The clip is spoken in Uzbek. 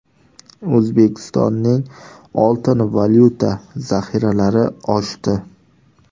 O‘zbekistonning oltin-valyuta zaxiralari oshdi.